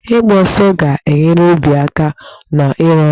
Ịgba ọsọ ga-enyere obi aka na-ịrụ ọrụ.